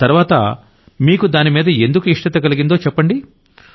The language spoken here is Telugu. తర్వాత అసలు మీకు దానిమీద ఎందుకు ఇష్టత కలిగిందో చెప్పండి